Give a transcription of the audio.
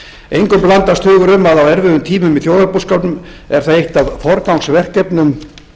engum blandast hugur um að á erfiðum tímum í þjóðarbúskapnum er það eitt af forgangsverkefnum